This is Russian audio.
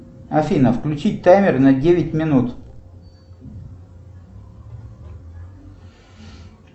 афина включи таймер на девять минут